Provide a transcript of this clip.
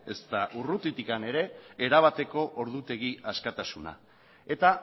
ezta urrutikan ere erabateko ordutegi askatasuna eta